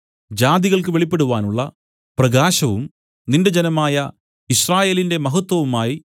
ജാതികൾക്ക് വെളിപ്പെടുവാനുള്ള പ്രകാശവും നിന്റെ ജനമായ യിസ്രായേലിന്റെ മഹത്വവുമായി